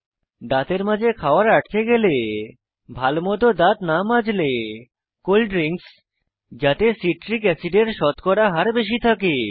দাঁতের মাঝে খাওয়ার আটকে গেলে ভালোমত দাঁত না মাজলে কোল্ড ড্রিঙ্কস যাতে সিট্রিক অ্যাসিডের শতকরা হার বেশি থাকে